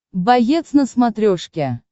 боец на смотрешке